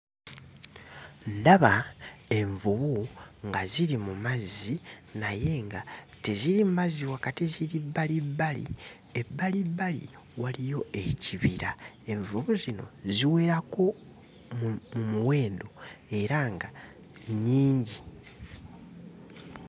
Ndaba envubu nga ziri mu mazzi naye nga teziri mu mazzi wakati; ziri bbalibbali, ebbalibbali waliyo ekibira. Envubu zino ziwerako mu muwendo era nga nnyingi.